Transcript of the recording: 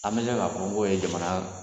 An k'a fɔ ko ye jamana